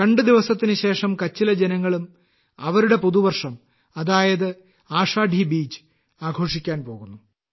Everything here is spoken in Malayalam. രണ്ട് ദിവസത്തിന് ശേഷം കച്ചിലെ ജനങ്ങളും അവരുടെ പുതുവർഷം അതായത് ആഷാഢി ബീജ് ആഘോഷിക്കാൻ പോകുന്നു